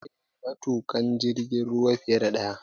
Akwai matuƙan jirgin ruwa fiye da ɗaya